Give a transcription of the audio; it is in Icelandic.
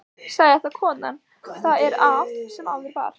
Sagði þá konan: Það er af sem áður var.